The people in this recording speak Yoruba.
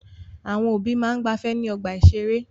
Àwọn òbí máa ń gbafẹ́ ní ọgbà-ìṣeré.